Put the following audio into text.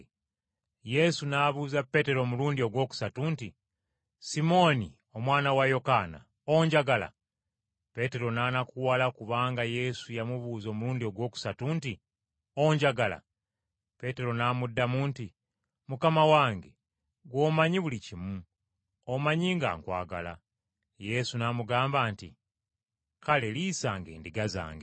Yesu n’abuuza Peetero omulundi ogwokusatu nti, “Simooni omwana wa Yokaana, onjagala?” Peetero n’anakuwala kubanga Yesu yamubuuza omulundi ogwokusatu nti, “Onjagala?” Peetero n’amuddamu nti, “Mukama wange ggwe omanyi buli kimu, omanyi nga nkwagala.” Yesu n’amugamba nti, “Kale liisanga endiga zange.